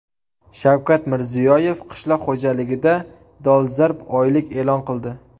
Shavkat Mirziyoyev qishloq xo‘jaligida dolzarb oylik e’lon qildi.